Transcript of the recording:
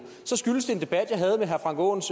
skyldes det en debat jeg havde med herre frank aaens